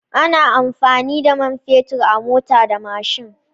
Ana amfani da man fetur a mota da mashin.